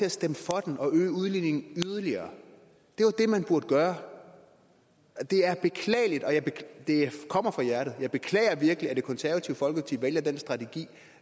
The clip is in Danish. at stemme for den og øge udligningen yderligere det var det man burde gøre det er beklageligt og det kommer fra hjertet jeg beklager virkelig at det konservative folkeparti vælger den strategi